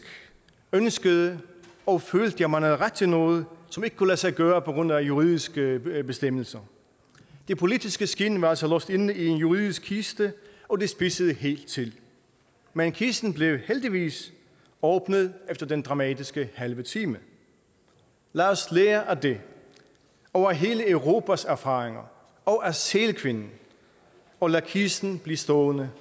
ønskede og følte at man havde ret til noget som ikke kunne lade sig gøre på grund af juridiske bestemmelser det politiske skind var altså låst inde i en juridisk kiste og det spidsede helt til men kisten blev heldigvis åbnet efter den dramatiske halve time lad os lære af det og af hele europas erfaringer og af sælkvinden og lade kisten blive stående